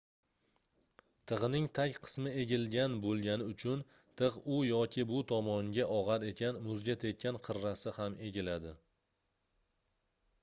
tigʻning tag qismi egilgan boʻlgani uchun tigʻ u yoki bu tomonga ogʻar ekan muzga tekkan qirrasi gam egiladi